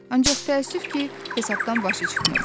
Ancaq təəssüf ki, hesabdan başı çıxmırdı.